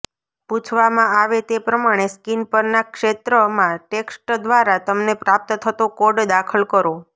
પૂછવામાં આવે તે પ્રમાણે સ્ક્રીન પરના ક્ષેત્રમાં ટેક્સ્ટ દ્વારા તમને પ્રાપ્ત થતો કોડ દાખલ કરો